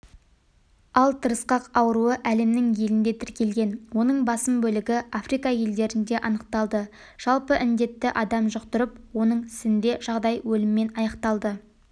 ал тырысқақ ауруы әлемнің елінде тіркелген оның басым бөлігі африка елдерінде анықталды жалпы індетті адам жұқтырып оның сінде жағдай өліммен аяқталды